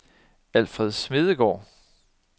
Alfred Smedegaard